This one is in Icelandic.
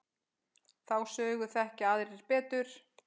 Þá sögu þekkja aðrir betur.